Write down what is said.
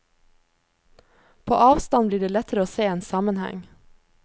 På avstand blir det lettere å se en sammenheng.